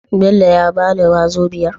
Bello ya bala wazobiar?